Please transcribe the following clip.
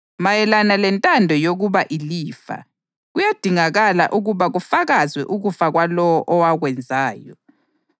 Mayelana lentando yokwaba ilifa, kuyadingakala ukuba kufakazwe ukufa kwalowo owakwenzayo,